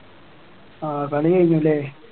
ആഹ് കളി കഴിഞ്ഞുല്ലേ